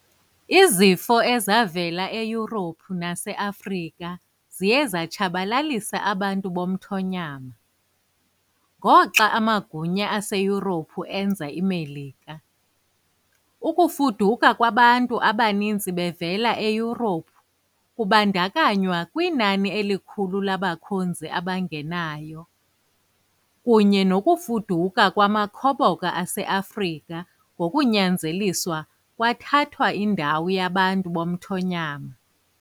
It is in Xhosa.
Izifo ezavela eYurophu naseAfrika ziye zatshabalalisa abantu bomthonyama, ngoxa amagunya aseYurophu enza iMelika. Ukufuduka kwabantu abaninzi bevela eYurophu, kubandakanywa inani elikhulu labakhonzi abangenayo, kunye nokufuduka kwamakhoboka aseAfrika ngokunyanzeliswayo kwathatha indawo yabantu bomthonyama.